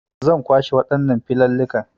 Zan kwashe waɗannan filillikan